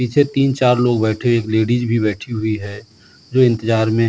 पीछे तीन-चार लोग बैठे एक लेडिज भी बैठी हुई है जो इंतज़ार में --